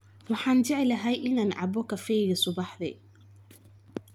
Waxaan jeclahay in aan cabbo kafeega subaxdii.